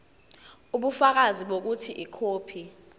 ubufakazi bokuthi ikhophi